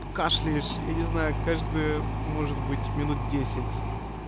кашляешь я не знаю каждый может быть минут десять